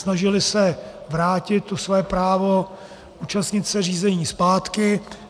Snažily se vrátit to své právo účastnit se řízení zpátky.